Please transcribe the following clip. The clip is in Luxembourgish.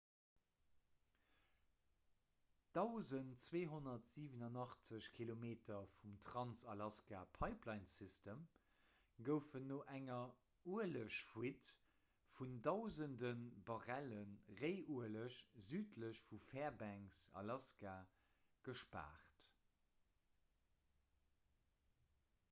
1287 kilometer vum trans-alaska-pipelinesystem goufen no enger uelegfuite vun dausende barrelle réiueleg südlech vu fairbanks alaska gespaart